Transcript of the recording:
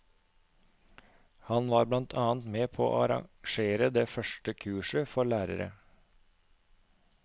Han var blant annet med på å arrangere det første kurset for lærere.